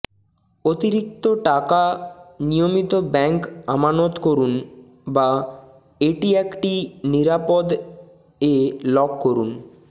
অতিরিক্ত টাকা নিয়মিত ব্যাঙ্ক আমানত করুন বা এটি একটি নিরাপদ এ লক করুন